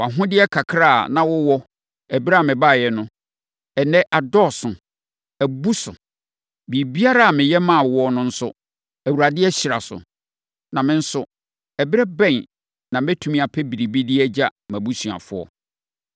Wʼahodeɛ kakra a na wowɔ ɛberɛ a mebaeɛ no, ɛnnɛ, adɔɔso, abu so. Biribiara a meyɛ maa wo no nso, Awurade ahyira so. Na me nso, ɛberɛ bɛn na mɛtumi apɛ biribi de agya mʼabusuafoɔ?”